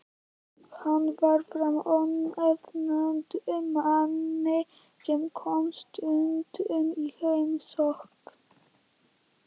Hann var frá ónefndum manni sem kom stundum í heimsókn.